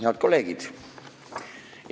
Head kolleegid!